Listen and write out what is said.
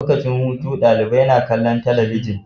Lokacin hutu dalibai na kallon talabijin